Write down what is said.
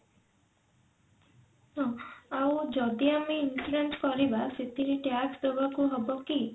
ତ ଆଉ ଯଦି ଆମେ increase କରିବା ସେଥିରେ tax ଦବାକୁ ହବ କି?